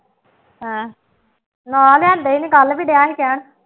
ਹਾਂ, ਹਾਂ ਲਿਆਉਂਦਾ ਨਹੀਂ, ਕੱਲ੍ਹ ਵੀ ਡਿਆ ਸੀ ਕਹਿਣ